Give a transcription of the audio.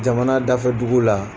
Jamana dafɛ dugu la.